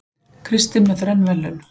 Kristinn með þrenn verðlaun